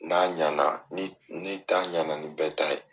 N'a ɲana n'i ta ɲana ni bɛɛ ta ye.